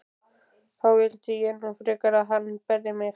Þá vildi ég nú frekar að hann berði mig.